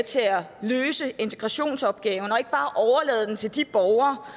til at løse integrationsopgaven og ikke bare overlade den til de borgere